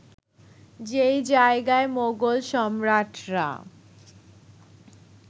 যে জায়গায় মোগল সম্রাটরা